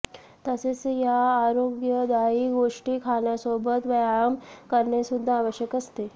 तसेच या आरोग्यदायी गोष्टी खाण्यासोबत व्यायाम करणे सु्द्धा आवश्यक असते